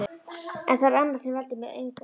En það er annað sem veldur mér angri.